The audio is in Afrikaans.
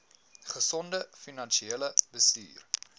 gesonde finansiële bestuur